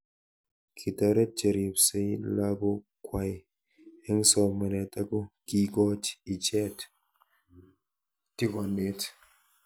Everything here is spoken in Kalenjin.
Kitaret cheripsei lakok kwai eng' somanet ako kiikoch ichet tigonet